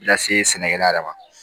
Lase sɛnɛkɛla yɛrɛ ma